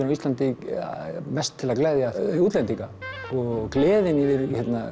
á Íslandi mest til að gleðja útlendinga og gleðin yfir